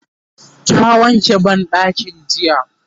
ta wanke banɗakin jiya